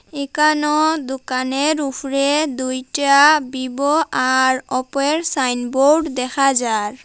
একানো দুকানের উফরে দুইটা বিবো আর ওপোর সাইনবোর্ড দেখা যার।